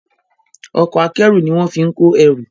Ọkọ̀ akẹ́rù ní wón fín kọ ẹrù.